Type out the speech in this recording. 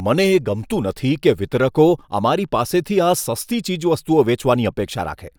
મને એ ગમતું નથી કે વિતરકો અમારી પાસેથી આ સસ્તી ચીજવસ્તુઓ વેચવાની અપેક્ષા રાખે.